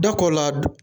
Da ko la